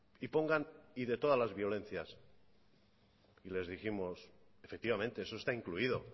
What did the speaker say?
y pongan y de todas las violencias y les dijimos efectivamente eso está incluido